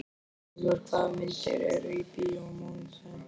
Bótólfur, hvaða myndir eru í bíó á mánudaginn?